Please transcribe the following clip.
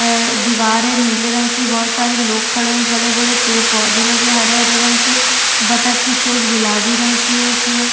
ए-ए दिवार नीले रंग की है बहोत सारे लोग खड़े है बड़े-बड़े पेड़-पौधे लगे है हरे-हरे रंग के बतख की चोंच गुलाबी रंग की है इसमें।